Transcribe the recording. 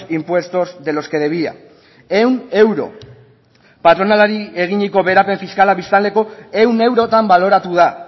impuestos de los que debía ehun euro patronalari eginiko beherapen fiskala biztanleko ehun eurotan baloratu da